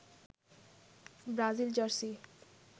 Brazil jersey